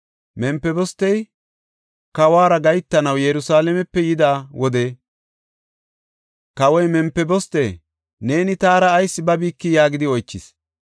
Mempibostey kawuwara gahetanaw Yerusalaamepe yida wode kawoy, “Mempiboste, neeni taara ayis babikii?” yaagidi oychis.